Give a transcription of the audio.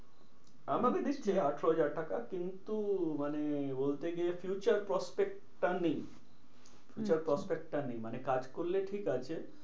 আমাকে দিচ্ছে আঠেরো হাজার টাকা কিন্তু মানে বলে গিয়ে future prospect টা নেই। আচ্ছা future prospect টা নেই মানে কাজ করলে ঠিক আছে।